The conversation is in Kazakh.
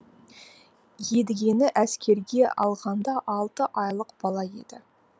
едігені әскерге алғанда алты айлық бала еді